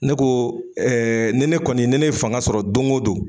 Ne ko ɛ ɛ ni ne kɔni ni ne ye fanga sɔrɔ don go don